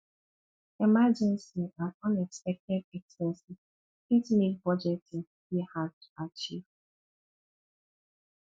emergency and unexpected expenses fit make budgeting dey hard to achieve